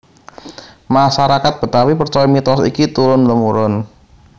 Masarakat Betawi percaya mitos iki turun temurun